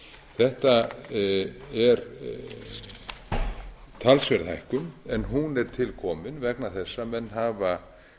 þetta er talsverð hækkun en hún er til komin vegna þess að menn hafa